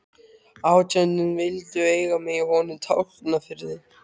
Átján vildu eiga mig í honum Tálknafirði.